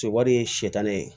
Se wari ye sitanɛ ye